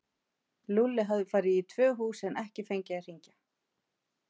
Lúlli hafði farið í tvö hús en ekki fengið að hringja.